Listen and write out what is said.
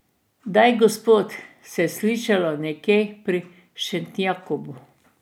Daj, gospod, se je slišalo nekje pri Šentjakobu.